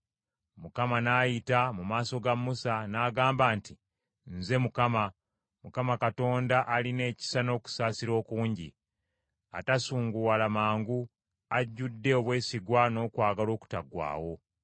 Mukama n’ayita mu maaso ga Musa n’agamba nti, “Nze Mukama , Mukama Katonda alina ekisa n’okusaasira okungi, atasunguwala mangu, ajjudde obwesigwa n’okwagala okutaggwaawo.